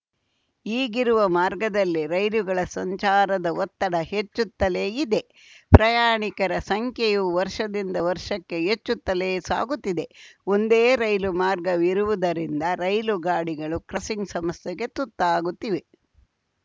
ಈಗಿರುವ ಮಾರ್ಗದಲ್ಲಿ ರೈಲುಗಳ ಸಂಚಾರದ ಒತ್ತಡ ಹೆಚ್ಚುತ್ತಲೇ ಇದೆ ಪ್ರಯಾಣಿಕರ ಸಂಖ್ಯೆಯೂ ವರ್ಷದಿಂದ ವರ್ಷಕ್ಕೆ ಹೆಚ್ಚುತ್ತಲೇ ಸಾಗುತ್ತಿದೆ ಒಂದೇ ರೈಲು ಮಾರ್ಗವಿರುವುದರಿಂದ ರೈಲು ಗಾಡಿಗಳು ಕ್ರಸಿಂಗ್‌ ಸಮಸ್ಯೆಗೆ ತುತ್ತಾಗುತ್ತಿವೆ